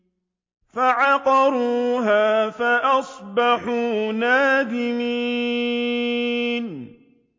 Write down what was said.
فَعَقَرُوهَا فَأَصْبَحُوا نَادِمِينَ